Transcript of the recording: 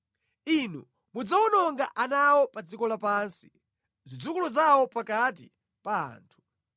Inu mudzawononga ana awo pa dziko lapansi, zidzukulu zawo pakati pa anthu.